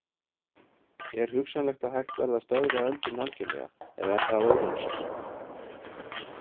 Er hugsanlegt að hægt verði að stöðva öldrun algjörlega eða er það óraunsætt?